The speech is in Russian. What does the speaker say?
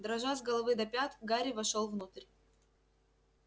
дрожа с головы до пят гарри вошёл внутрь